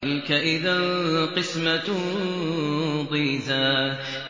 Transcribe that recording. تِلْكَ إِذًا قِسْمَةٌ ضِيزَىٰ